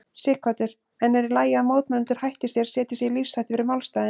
Sighvatur: En er í lagi að mótmælendur hætti sér, setji sig í lífshættu fyrir málstaðinn?